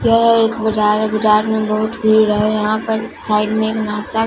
यह एक बजार है बजार में बहुत भीड़ है यहां पर साइड में एक--